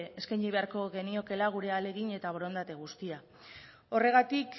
eskaini beharko geniokeela gure ahalegin eta borondate guztia horregatik